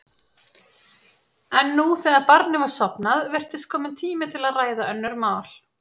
En nú, þegar barnið var sofnað, virtist kominn tími til að ræða önnur mál.